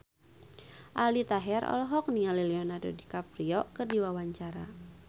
Aldi Taher olohok ningali Leonardo DiCaprio keur diwawancara